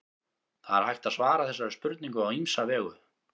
það er hægt að svara þessari spurningu á ýmsa vegu